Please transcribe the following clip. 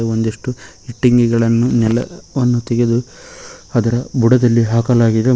ಒಂದಿಷ್ಟು ಇಟ್ಟಂಗಿಗಳನ್ನು ನೆಲವನ್ನು ತೆಗೆದು ಅದರ ಬುಡದಲ್ಲಿ ಹಾಕಲಾಗಿದೆ ಮ--